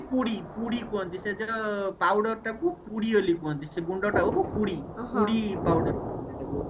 ପୁଡି ପୁଡି କୁହନ୍ତି ସେ powder ଟାକୁ ପୁଡି ବୋଲି କୁହନ୍ତି ସେ ଗୁଣ୍ଡ ଟାକୁ ପୁଡି powder କୁହନ୍ତି ତାକୁ